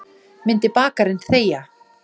Myndi bakarinn þegja?